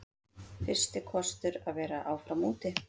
Fyrsti kostur að vera áfram úti